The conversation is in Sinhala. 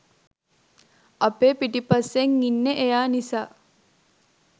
අපේ පිටිපස්සෙන් ඉන්නේ එයා නිසා.